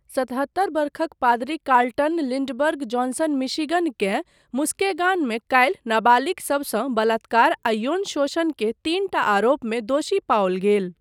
सतहत्तर वर्षक पादरी कार्लटन लिंडबर्ग जॉनसन मिशिगनकेँ मुस्केगॉनमे काल्हि नाबालिग सबसँ बलात्कार आ यौन शोषण के तीनटा आरोपमे दोषी पाओल गेल।